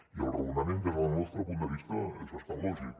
i el raonament des del nostre punt de vista és bastant lògic